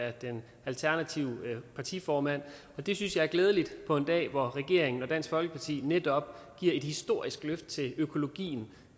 af den alternative partiformand og det synes jeg er glædeligt på en dag hvor regeringen og dansk folkeparti netop giver et historisk løft til økologien